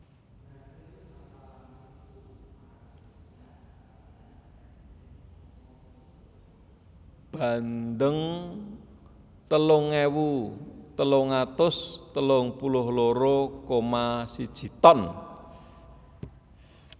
Bandeng telung ewu telung atus telung puluh loro koma siji ton